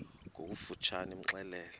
ngokofu tshane imxelele